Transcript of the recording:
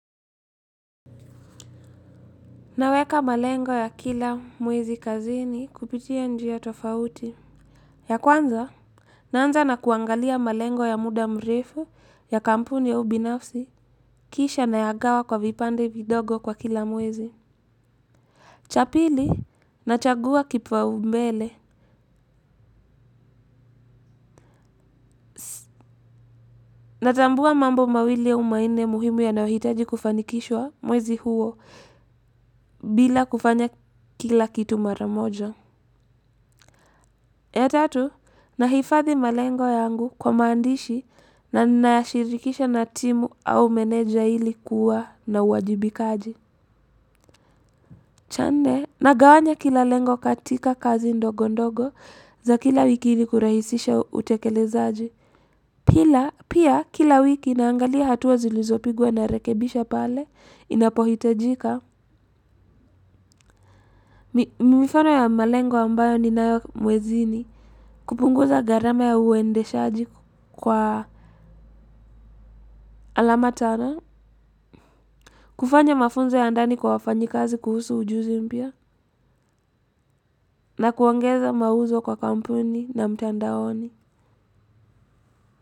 Ninaweka malengo ya kila mwezi kazini kupitia njia tofauti. Ya kwanza, naanza na kuangalia malengo ya muda mrefu ya kampuni ya ubinafsi. Kisha ninayagawa kwa vipande vidogo kwa kila mwezi. Chapili, nachagua kipwaumbele. Natambua mambo mawili au mainne muhimu yanayohitaji kufanikishwa mwezi huo bila kufanya kila kitu mara moja. Ya tatu, nahifadhi malengo yangu kwa maandishi na nashirikisha na timu au meneja ilikuwa na uwajibikaji. Cha nne, ninagawanya kila lengo katika kazi ndogo ndogo za kila wiki ilikurahisisha utekelezaji. Pia kila wiki ninaangalia hatua zilizopigwa narekebisha pale, inapohitajika. Mifano ya malengo ambayo ninayomwezini. Kupunguza gharama ya uendeshaji kwa alama tara, kufanya mafunzo ya ndani kwa wafanyikazi kuhusu ujuzi mpya. Na kuangeza mauzo kwa kampuni na mtandaoni.